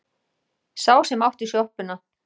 Sá sem átti sjoppuna.